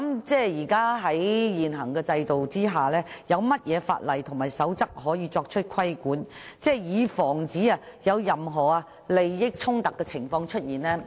在現行制度之下，有何法例和守則可以作出規管，以防出現任何利益衝突的情況？